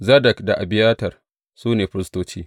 Zadok da Abiyatar, su ne firistoci.